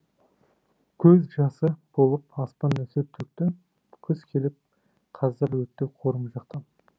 көз жасы болып аспан нөсер төкті күз келіп қаздар өтті қорым жақтан